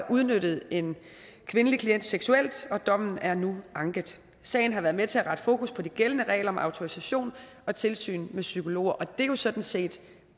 udnyttet en kvindelig klient seksuelt dommen er nu er anket sagen har været med til at rette fokus på de gældende regler om autorisation og tilsyn med psykologer og det er jo sådan set